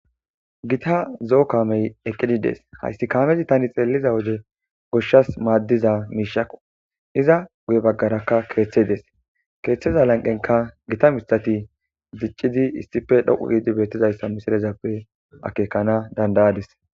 Gita zzoo kameti eqidi desi hasi kamezi ta xeliza wodegoshasi madiza mishakko iza guye bagarakka kethi desi kethaza laniqenika git mithati diccidi issippe dhoqu gidi betizayisa akekana danidadisi